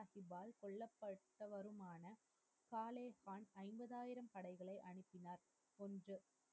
பட்டவருமான பாலே கான் ஐம்பதாயிரம் படைகளை அனுப்பினார் என்று,